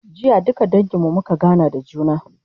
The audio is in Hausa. jiya duka dangin mu muka gana da juna